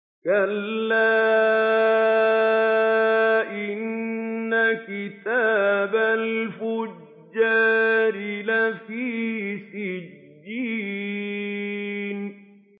كَلَّا إِنَّ كِتَابَ الْفُجَّارِ لَفِي سِجِّينٍ